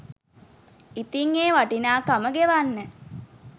ඉතිං ඒ වටිනාකම ගෙවන්න